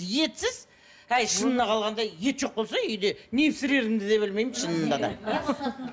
етсіз әй шынына қалғанда ет жоқ болса үйде не пісірерімді де білмеймін шынында да